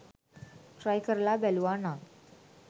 Try කරලා බැලුවා නං.